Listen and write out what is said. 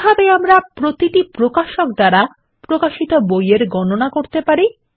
কিভাবে আমরা প্রতিটি প্রকাশক দ্বারা প্রকাশিত বই এর গণনা করতে পারি